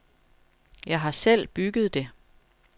Jeg har selv bygget det.